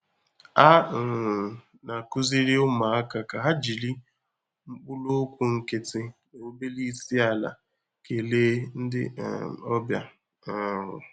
A um na-akụziri ụmụaka ka ha jiri mkpụrụokwu nkịtị na obere isi-ala kelee ndị um ọbịa. um